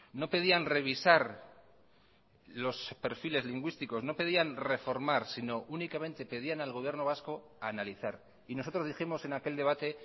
no pedían revisar los perfiles lingüísticos no pedían reformar sino únicamente pedían al gobierno vasco analizar y nosotros dijimos en aquel debate